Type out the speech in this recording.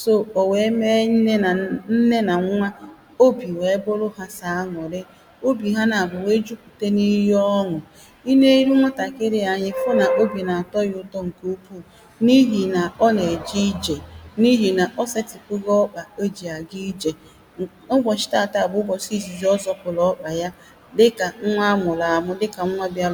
So, o weē meē nne na.. nne na nwa Obì weē bụrụ hà sọ̀ anụ̀rị obì hà nà abụọ̄ weē jupùta n’ ihe ọn̄ụ̀ I neē irụ nwatàkiri a anya, I fụ n’ obì na-atọ ya ụ̀tọ ǹkè ụkwụụ̄ N’ ihì na ọ na-èje ijè N’ ihì nà ò setùpugo ọkpà ò jì àga ijè Ụbọ̀chí taātaā bụ ụbọ̀chị ìzìzì ọ́ zopùrù ọkpà ya Dikà nwa amụ̀rụ àmụ, dikà nwa biarụ